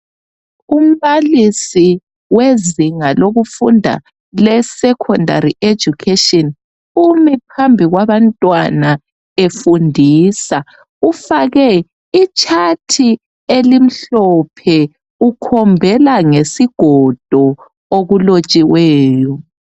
Umbalisi wezinga lokufunda lesecondary education umi phambi kwabantwana efundisa ufake itshathi elimhlophe ukhombela ngesigodo okulotshiweyo.